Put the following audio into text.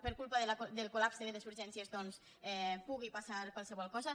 per culpa del collapse de les urgències doncs pugui passar qualsevol cosa